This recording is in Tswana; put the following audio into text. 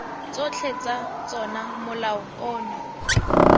tsotlhe tsa tsona molao ono